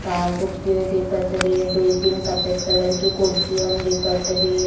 काजूकत दिखत रही है दुय तीन सफ़ेद कलर की कुर्सीओन दिखत रही है।